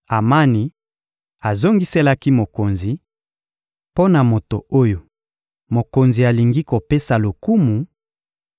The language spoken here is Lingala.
Amani azongiselaki mokonzi: — Mpo na moto oyo mokonzi alingi kopesa lokumu,